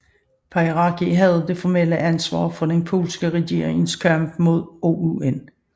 Pieracki havde det formelle ansvar for den polske regerings kamp mod OUN